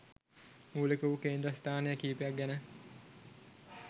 මූලික වූ කේන්ද්‍රස්ථාන කීපයක් ගැන